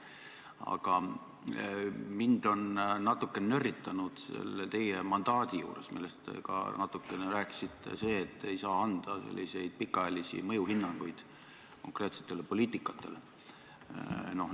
Aga mind on natuke nörritanud selle teie mandaadi juures, millest te ka natukene rääkisite, see, et te ei saa anda pikaajalisi mõjuhinnanguid konkreetsetele poliitikatele.